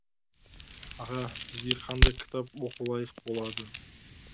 аға бізге қандай кітап оқу лайық болады